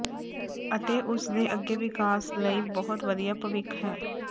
ਅਤੇ ਉਸ ਦੇ ਅੱਗੇ ਵਿਕਾਸ ਲਈ ਬਹੁਤ ਵਧੀਆ ਭਵਿੱਖ ਹੈ